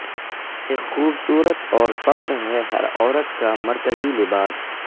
ایک خوبصورت اور فخر ہے ہر عورت کا مرکزی لباس